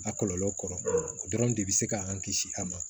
A kɔlɔlɔ kɔrɔ o dɔrɔn de bɛ se k'an kisi a ma